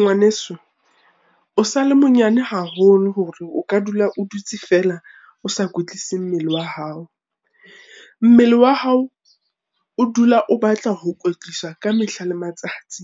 Ngwaneso, o sale monyane haholo hore o ka dula o dutse feela, o sa kwetlise mmele wa hao. Mmele wa hao o dula o batla ho kwetliswa ka mehla le matsatsi,